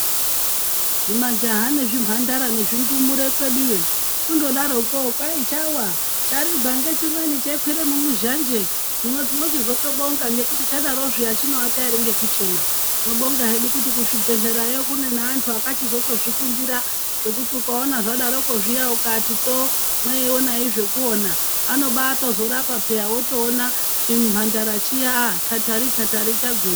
Zvimajaha nezvimhandara nezvindumure kweduyo iyo kundodaroko kwai chawa charigwa ngechimweni cheikwire mumuzhanje hino tinochizotobonga ngekuti chadaro zviya chinoata ere ngekuchema tinobonga zveku ngekuti kuzvibhehlerayo kune antu akazvifundira zvekuti ukaona zvadarokwo zviya ukati tso mweioneyi zvekuona anobatozorapa peya wotoona chimhandara chiya tatari tatari chagwinya.